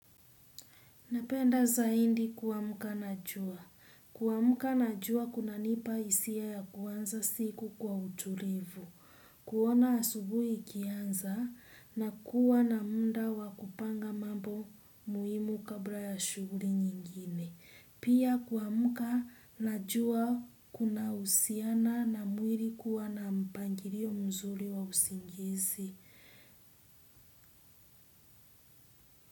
Napenda zaidi kuamka na jua. Kuamka na jua kunanipa hisia ya kuanza siku kwa utulivu, kuona asubuhi ikianza na kuwa na muda wa kupanga mambo muhimu kabla ya shughuli nyingine. Pia kuamka na jua kunahusiana na mwili kuwa na mpangilio mzuri wa usingizi.